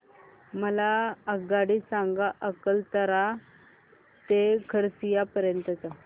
मला आगगाडी सांगा अकलतरा ते खरसिया पर्यंत च्या